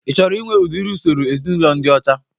Ị chọrọ inwe udiri usoro ezinaụlọ ndị ọcha?